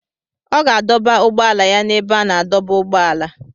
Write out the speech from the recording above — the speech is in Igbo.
Ọ ga-adọba ụgbọala ya na ebe a na-adọba ụgbọala